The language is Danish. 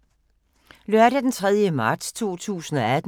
Lørdag d. 3. marts 2018